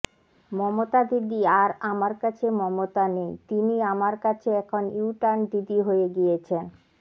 মমতা দিদি আর আমার কাছে মমতা নেই তিনি আমার কাছে এখন ইউটার্ন দিদি হয়ে গিয়েছেন